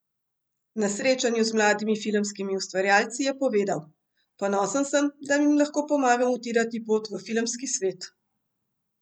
Na srečanju z mladimi filmskimi ustvarjalci je povedal: "Ponosen sem, da jim lahko pomagam utirati pot v filmski svet.